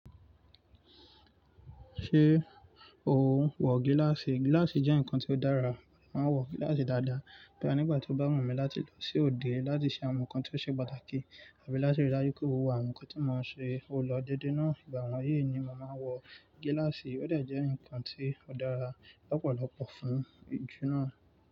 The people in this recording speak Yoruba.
Ṣé o wọ gíláàsì? Gíláàsì jẹ́ nǹkan tó dára, màá wọ gíláàsì dáadáa. Bí ànígbà tí ó bá wù mí láti lọ sí òde láti ṣe àwọn nǹkan tí ó ṣe pàtàkì, àbí láti rí dájú pé mo wà àwọn nǹkan tí mò ń ṣe, ó lọ dédé náà. Ìgbà wọnyí ni mo màá wọ gíláàsì. Ó dà jẹ́ ǹkan tí ó dára lọ́pọ̀lọpọ̀ fún ijú náà.